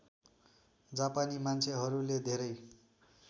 जापानी मान्छेहरूले धेरै